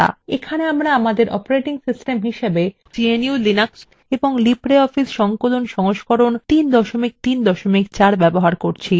এখানে আমরা gnu/linux এবং libreoffice সংকলন সংস্করণ 334 ব্যবহার করছি